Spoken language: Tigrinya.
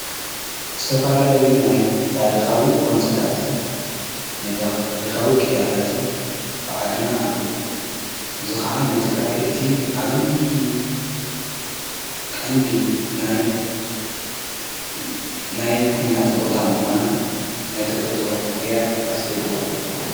ስተፋላለዩ ናይ ታሪኻዊ ጐንጽታትን ናይ ታሪኻዊ ቅያታትን ኣብ ዓድና ኣለዉ እዝ ኸዓ ነትግራይ እቲ ኣብዪ ቐንዲ ናይ ኲናት ቦታ ምዃና ናይተፈጦ ምቕያር ኣስዒብዋ ኣሎ።